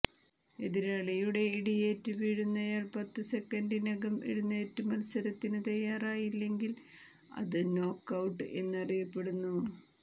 എതിരാളിയുടെ ഇടിയേറ്റ് വീഴുന്നയാൾ പത്ത് സെക്കൻഡിനകം എഴുന്നേറ്റ് മത്സരത്തിന് തയ്യാറായില്ലെങ്കിൽ അത് നോക്ക് ഔട്ട് എന്ന് അറിയപ്പെടുന്നു